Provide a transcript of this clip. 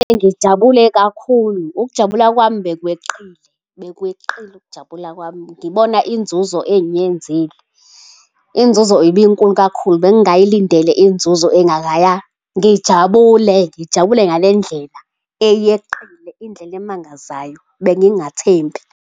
Ngijabule kakhulu. Ukujabula kwami bekweqile, bekweqile ukujabula kwami. Ngibona inzuzo engiyenzile. Inzuzo ibinkulu kakhulu. Bengingayilindele inzuzo engakaya. Ngijabule, ngijabule ngale ndlela eyeqile, indlela emangazayo. Bengingathembi.